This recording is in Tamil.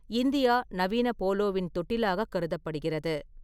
இந்தியா நவீன போலோவின் தொட்டிலாக கருதப்படுகிறது.